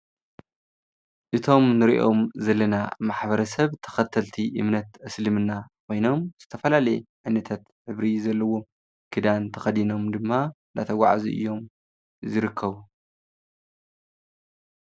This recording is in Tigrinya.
እቶም እንሪኦም ዘለና ማሕበረሰብ ተኸተልቲ እምነት እስልምና ኮይኖም ዝተፈላለየ ዓይነታት ሕብሪ ዘለዎ ክዳን ተኸዲኖም ድማ እንዳተጎዓዙ እዮም ዝርከቡ።